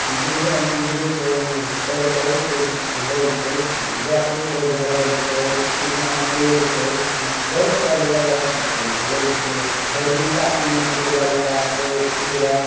गिरजा मंदिर छै ओय मे सर बहुत लोग छै जाफरी से घेरल छै पीछा में पेड़ छै ब-बहुत सरे र र अथी छै लोग छै हरदिन का पिन्हले छै कोई ललका कोई उजर का ।